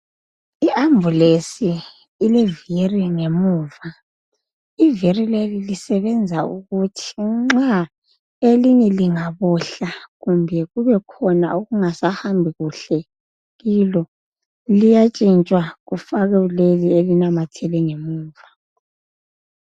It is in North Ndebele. I Ambulance ilevili ngemuva ivili leli lisebenza ukuthi nxa elinye lingabohla kumbe kubekhona okungasahambi kuhle kulo liyatshintshwa kufakwe leli elinamathele ngemuva.